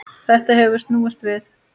Þetta hefur snúist við.